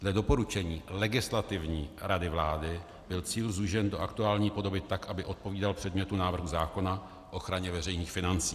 Dle doporučení Legislativní rady vlády byl cíl zúžen do aktuální podoby tak, aby odpovídal předmětu návrhu zákona k ochraně veřejných financí.